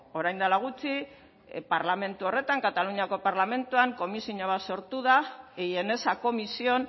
orain dela gutxi parlamentu horretan kataluniako parlamentuan komisioa bat sortu da y en esa comisión